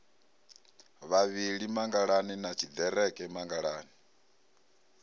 vhavhili mangalani na tshiḓereke mangalani